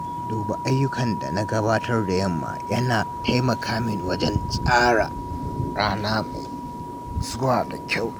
Duba ayyukan da na gabatar da yamma yana taimaka min wajen tsara rana mai zuwa da kyau.